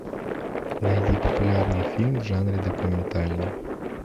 найди популярный фильм в жанре документальный